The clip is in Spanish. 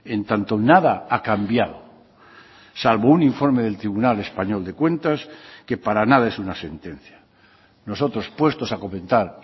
en tanto nada ha cambiado salvo un informe del tribunal español de cuentas que para nada es una sentencia nosotros puestos a comentar